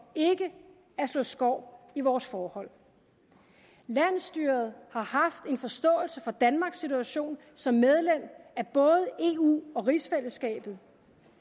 ikke at slå skår i vores forhold landsstyret har haft en forståelse for danmarks situation som medlem af både eu og rigsfællesskabet